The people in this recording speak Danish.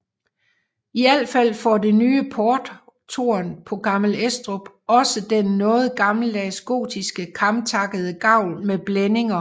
I al fald får det nye porttårn på Gammel Estrup også den noget gammeldags gotiske kamtakkede gavl med blændinger